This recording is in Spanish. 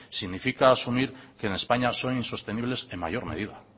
significa asumir que en españa son insostenibles en mayor medida